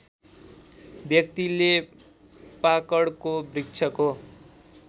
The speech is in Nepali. व्यक्तिले पाकडको वृक्षको